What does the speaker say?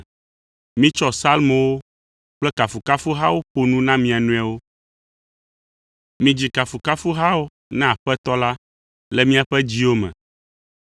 Mitsɔ Psalmowo kple kafukafuhawo ƒo nu na mia nɔewo. Midzi kafukafuhawo na Aƒetɔ la le miaƒe dziwo me.